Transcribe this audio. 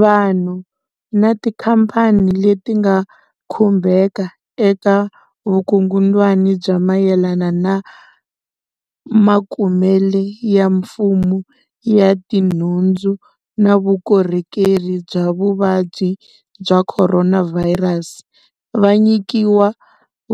Vanhu na tikhamphani leti nga khumbeka eka vukungundzwana bya mayelana na makumele ya mfumo ya tinhundzu na vukorhokeri bya vuvabyi bya Khoronavhayirasi va nyikiwa